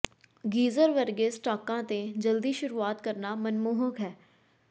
geyser ਵਰਗੇ ਸਟਾਕਾਂ ਤੇ ਜਲਦੀ ਸ਼ੁਰੂਆਤ ਕਰਨਾ ਮਨਮੋਹਕ ਹੈ